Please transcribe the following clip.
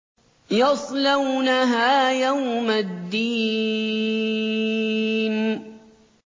يَصْلَوْنَهَا يَوْمَ الدِّينِ